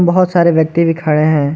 बहोत सारे व्यक्ति भी खड़े हैं।